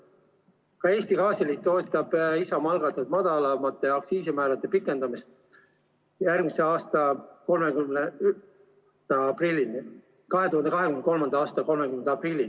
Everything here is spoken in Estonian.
Ka Eesti Gaasiliit toetab Isamaa algatatud madalamate aktsiisimäärade pikendamist 2023. aasta 30. aprillini.